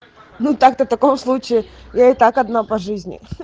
ну так-то таком случае я и так одна по жизни